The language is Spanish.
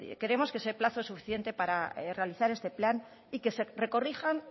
creemos que ese plazo es suficiente para realizar este plan y que se corrijan